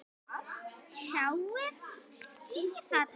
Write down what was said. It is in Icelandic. Sjáiði skýið þarna?